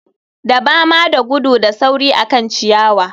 Dabama da gudu da sauri akan ciyawa